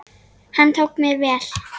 Hann tók mér vel.